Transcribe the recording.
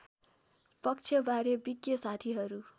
पक्षबारे विज्ञ साथीहरू